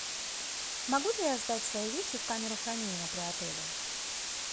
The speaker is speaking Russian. могу ли я сдать свои вещи в камеру хранения при отеле